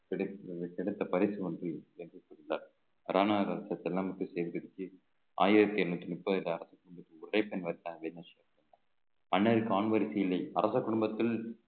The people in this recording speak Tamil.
கிடைத்த கிடைத்த பரிசு ஒன்றில் சேகரிச்சு ஆயிரத்தி எண்ணூத்தி முப்பத்தி இல்லை அரச குடும்பத்தில்